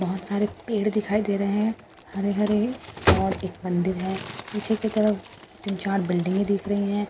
बहुत सारे पेड़ दिखाई दे रहे हैं हरे हरे और एक मंदिर है पीछे की तरफ जहां तीन चार बिल्डिंगे दिख रही है उसके --